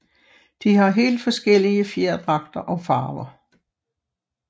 De har helt forskellige fjerdragter og farver